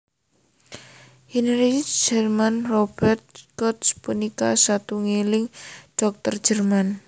Heinrich Hermann Robert Koch punika satunggiling dhokter Jerman